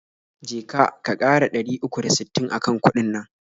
Je ka, ka ƙara dari uku da sittin akan kuɗin nan.